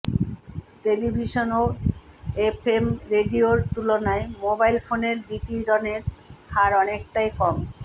television ও FM রেডিওর তুলনায় মোবাইল ফোনের বিকিরণের হার অনেকটাই কম